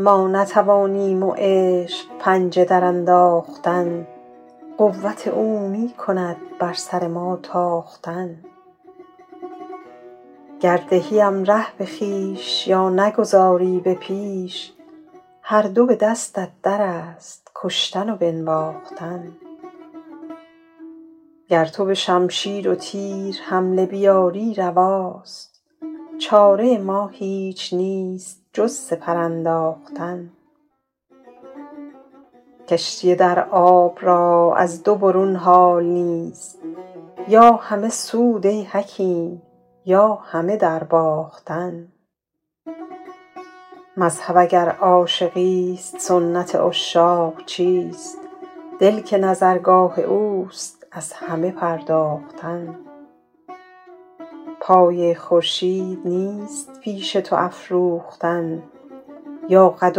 ما نتوانیم و عشق پنجه درانداختن قوت او می کند بر سر ما تاختن گر دهیم ره به خویش یا نگذاری به پیش هر دو به دستت در است کشتن و بنواختن گر تو به شمشیر و تیر حمله بیاری رواست چاره ما هیچ نیست جز سپر انداختن کشتی در آب را از دو برون حال نیست یا همه سود ای حکیم یا همه درباختن مذهب اگر عاشقیست سنت عشاق چیست دل که نظرگاه اوست از همه پرداختن پایه خورشید نیست پیش تو افروختن یا قد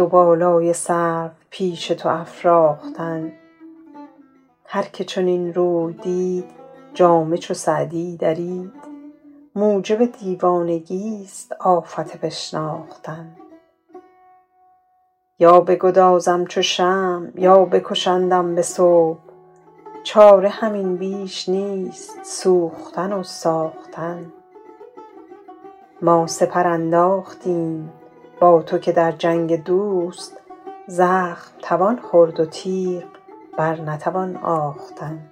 و بالای سرو پیش تو افراختن هر که چنین روی دید جامه چو سعدی درید موجب دیوانگیست آفت بشناختن یا بگدازم چو شمع یا بکشندم به صبح چاره همین بیش نیست سوختن و ساختن ما سپر انداختیم با تو که در جنگ دوست زخم توان خورد و تیغ بر نتوان آختن